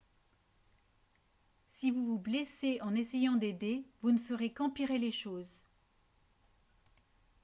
si vous vous blessez en essayant d'aider vous ne ferez qu'empirer les choses